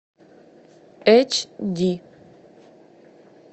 эч ди